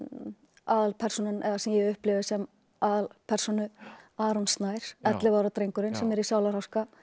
aðalpersónan eða sem ég upplifi sem aðalpersónu Aron Snær ellefu ára drengurinn sem er í sálarháska